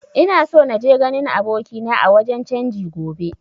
Ina so naje ganin abokina a wajen canji gobe